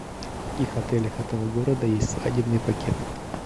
в каких отелях этого города есть свадебный пакет